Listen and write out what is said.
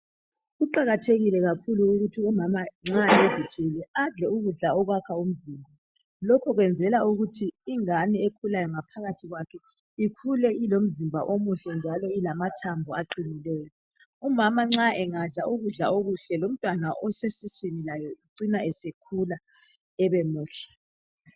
Kuqakathekile kakhulu ukuthi umama nxa ezithwele adle ukudla okwakha umzimba. Lokhu kwenzela ukuthi ingane ekhulayo ngaphakathi kwakhe ikhule ilomzimba omuhle njalo ilamathambo aqinileyo. Umama nxa engadla ukudla okuhle lomntwana osesiswini laye ucina esekhula ebemuhle.